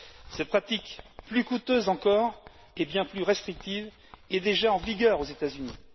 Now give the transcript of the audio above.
Cette pratique plus coûteuse encore, et bien plus restrictive, est déjà en vigueur aux États Unis.